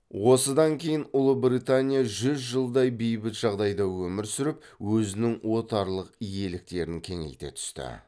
осыдан кейін ұлыбритания жүз жылдай бейбіт жағдайда өмір сүріп өзінің отарлық иеліктерін кеңейте түсті